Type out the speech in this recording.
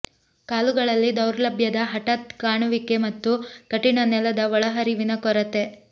ಕಾಲುಗಳಲ್ಲಿ ದೌರ್ಬಲ್ಯದ ಹಠಾತ್ ಕಾಣುವಿಕೆ ಮತ್ತು ಕಠಿಣ ನೆಲದ ಒಳಹರಿವಿನ ಕೊರತೆ